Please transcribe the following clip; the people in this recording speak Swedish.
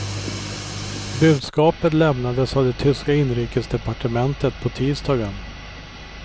Budskapet lämnades av det tyska inrikesdepartementet på tisdagen.